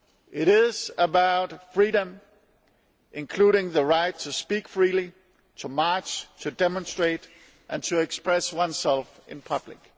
It is about freedom, including the right to speak freely, to march, to demonstrate and to express oneself in public.